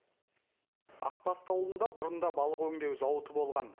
ақбасты ауылында бұрын да балық өңдеу зауыты болған